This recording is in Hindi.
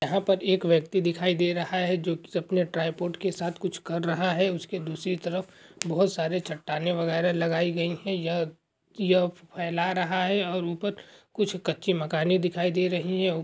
यहाँ पर एक व्यक्ति दिखाई दे रहा है जो कि अपने ट्रिपॉड के साथ कुछ कर रहा है उसके दूसरी तरफ बहोत सारे चट्टानें वगैहरा लगाई गई हैं यह यह फैला रहा है और ऊपर कुछ कच्ची मकाने दिखाए दे रही हैं ।